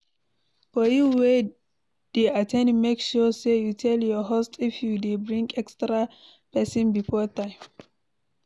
For you wey de at ten d make sure say you tell your host if you de bring extra persin before time